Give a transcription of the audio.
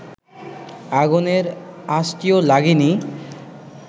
আগুনের আঁচটিও লাগেনি